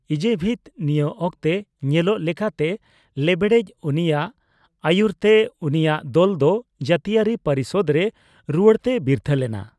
ᱮᱡᱮᱵᱷᱤᱛ, ᱱᱤᱭᱟᱹ ᱚᱠᱛᱮ ᱧᱮᱞᱚᱜ ᱞᱮᱠᱟᱛᱮ ᱞᱮᱵᱲᱮᱪ, ᱩᱱᱤᱭᱟᱜ ᱟᱹᱭᱩᱨ ᱛᱮ ᱩᱱᱤᱭᱟᱜ ᱫᱚᱞ ᱫᱚ ᱡᱟᱹᱛᱤᱭᱟᱹᱨᱤ ᱯᱚᱨᱤᱥᱚᱫ ᱨᱮ ᱨᱩᱣᱟᱹᱲᱛᱮᱭ ᱵᱤᱨᱛᱷᱟᱹ ᱞᱮᱱᱟ ᱾